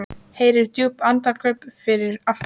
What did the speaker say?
Heyrir djúp andköf fyrir aftan sig.